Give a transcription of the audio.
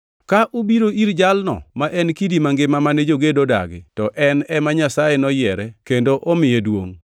Ka ubiro ir Jalno ma en Kidi mangima mane jogedo odagi, to en ema Nyasaye noyiere kendo omiye duongʼ.